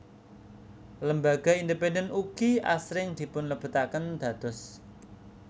Lembaga independen ugi asring dipunlebetaken dados